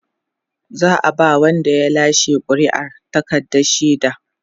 za'a ba Wanda ya lashe ƙuri'ar takardar shaida